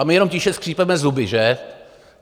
A my jenom tiše skřípeme zuby, že?